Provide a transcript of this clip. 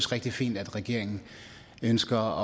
rigtig fint at regeringen ønsker